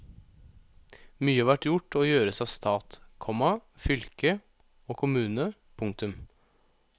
Mye har vært gjort og gjøres av stat, komma fylke og kommune. punktum